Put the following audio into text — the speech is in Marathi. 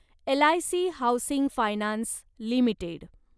LIC housing finance limited